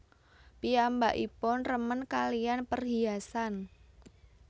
Piyambakipun remen kalihan perhiasan